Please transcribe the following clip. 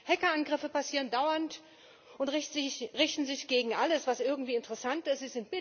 Hackerangriffe passieren dauernd und richten sich gegen alles, was irgendwie interessant ist.